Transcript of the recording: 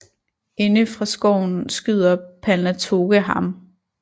Inde fra skoven skyder Palnatoke ham